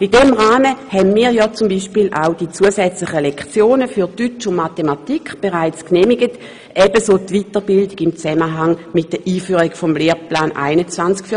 In diesem Rahmen haben wir ja beispielsweise auch die zusätzlichen Lektionen für Deutsch und Mathematik bereits genehmigt, ebenso wie die Weiterbildung der Lehrpersonen im Zusammenhang mit der Einführung des Lehrplans 21.